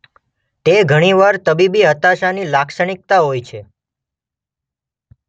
તે ઘણી વાર તબીબી હતાશાની લાક્ષણિકતા હોય છે.